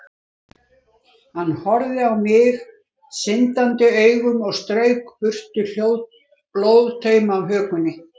Hann horfði á mig syndandi augum og strauk burtu blóðtauma af hökunni.